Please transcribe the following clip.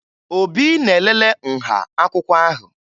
Obi na-elele nha akwụkwọ ahụ